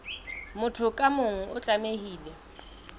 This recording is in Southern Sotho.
motho ka mong o tlamehile